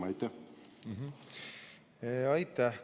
Aitäh!